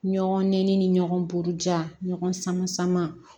Ɲɔgɔn nɛ ɲɔgɔn buruja ɲɔgɔn sama sama